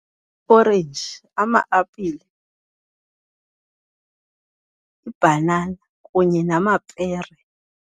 Orenji, ama-apile ibhanana kunye namapere.